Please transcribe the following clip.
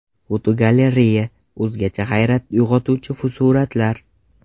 Fotogalereya: O‘zgacha hayrat uyg‘otuvchi suratlar.